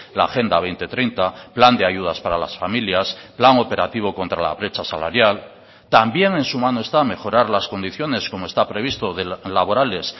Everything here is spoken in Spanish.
la agenda dos mil treinta plan de ayudas para las familias plan operativo contra la brecha salarial también en su mano está mejorar las condiciones como está previsto laborales